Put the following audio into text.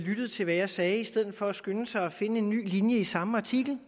lyttet til hvad jeg sagde i stedet for at skynde sig at finde en ny linje i samme artikel